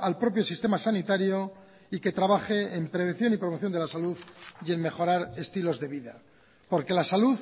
al propio sistema sanitario y que trabaje en prevención y promoción de la salud y en mejorar estilos de vida porque la salud